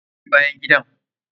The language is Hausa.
Wa ya wanke bayan gidan!